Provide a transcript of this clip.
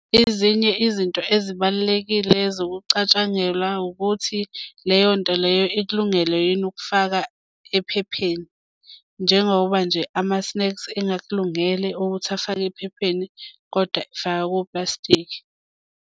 Ezinye izinto ezibalulekile ezokucatshangelwa ukuthi leyo nto leyo ikulungele yini ukufaka ephepheni. Njengoba nje amasneksi engakulungele ukuthi afake ephepheni kodwa faka koplastiki.